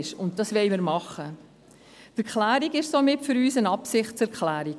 Für uns ist die Erklärung somit eine Absichtserklärung.